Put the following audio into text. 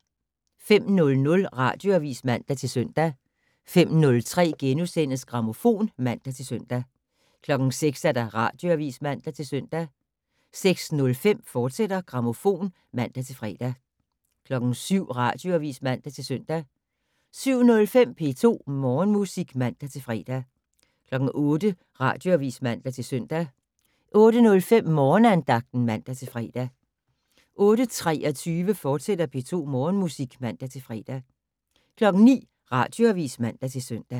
05:00: Radioavis (man-søn) 05:03: Grammofon *(man-søn) 06:00: Radioavis (man-søn) 06:05: Grammofon, fortsat (man-fre) 07:00: Radioavis (man-søn) 07:05: P2 Morgenmusik (man-fre) 08:00: Radioavis (man-søn) 08:05: Morgenandagten (man-fre) 08:23: P2 Morgenmusik, fortsat (man-fre) 09:00: Radioavis (man-søn)